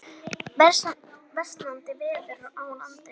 Versnandi veður á landinu